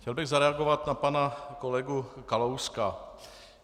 Chtěl bych zareagovat na pana kolegu Kalouska.